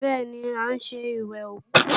Bẹ́ẹ̀ni, à ń ṣe ìwẹ̀kú